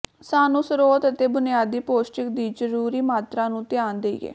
ਸਾਨੂੰ ਸਰੋਤ ਅਤੇ ਬੁਨਿਆਦੀ ਪੌਸ਼ਟਿਕ ਦੀ ਜ਼ਰੂਰੀ ਮਾਤਰਾ ਨੂੰ ਧਿਆਨ ਦੇਈਏ